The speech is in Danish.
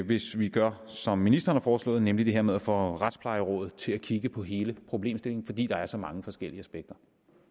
hvis vi gør som ministeren har foreslået nemlig det her med at få retsplejerådet til at kigge på hele problemstillingen fordi der er så mange forskellige aspekter